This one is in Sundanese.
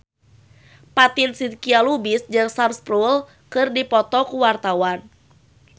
Fatin Shidqia Lubis jeung Sam Spruell keur dipoto ku wartawan